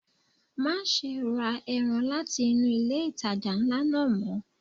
Má ṣe ra ẹran láti inú ilé ìtajà ńlá náà mọ́.